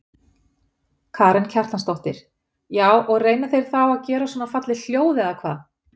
Karen Kjartansdóttir: Já og reyna þeir þá að gera svona falleg hljóð eða hvað?